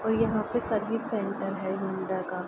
और यहाँ पे सर्विस सेंटर है हौंडा का।